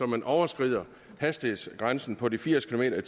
man overtræder hastighedsgrænsen på de firs kilometer